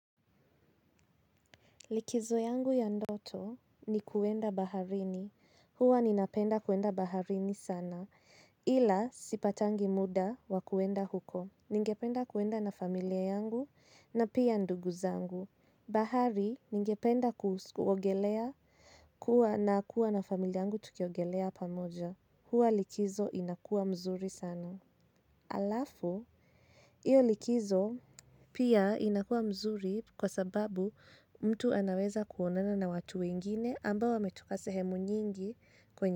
Likizo yangu ya ndoto ni kuenda baharini huwa ninapenda kuenda baharini sana ila sipatangi muda wakuenda huko. Ningependa kuenda na familia yangu na pia ndugu zangu. Bahari ningependa kuogelea kuwa na kuwa na familia yangu tukiogelea pamoja. Hua likizo inakua mzuri sana. Alafu, iyo likizo pia inakua mzuri kwa sababu mtu anaweza kuonana na watu wengine ambao wametoka sehemu nyingi kwenye.